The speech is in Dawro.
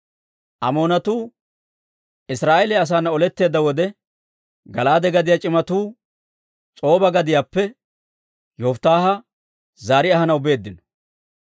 Amoonatuu Israa'eeliyaa asaana oletteedda wode, Gala'aade gadiyaa c'imatuu S'oba gadiyaappe Yofittaaha zaari ahanaw beeddino.